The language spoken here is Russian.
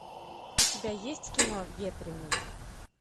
у тебя есть кино ветренный